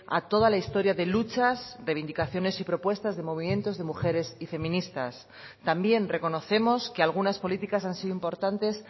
a toda la historia de luchas reivindicaciones y propuestas de movimientos de mujeres y feministas también reconocemos que algunas políticas han sido importantes